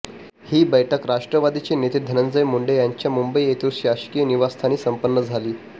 ही बैठक राष्ट्रवादीचे नेते धनंजय मुंडे यांच्या मुंबई येथील शासकीय निवासस्थानी संपन्न झाली